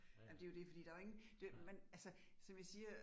Ej men det jo det fordi der jo ingen, det jo man altså som jeg siger